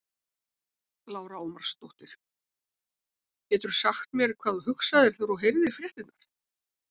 Lára Ómarsdóttir: Getur þú sagt mér hvað þú hugsaðir þegar þú heyrðir fréttirnar?